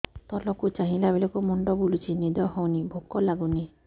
ତଳକୁ ଚାହିଁଲା ବେଳକୁ ମୁଣ୍ଡ ବୁଲୁଚି ନିଦ ହଉନି ଭୁକ ଲାଗୁନି